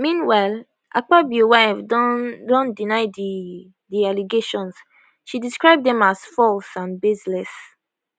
meanwhile akpabio wife don don deny di di allegations she describe dem as false and baseless